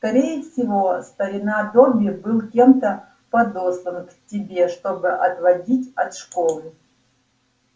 скорее всего старина добби был кем-то подослан к тебе чтобы отвадить от школы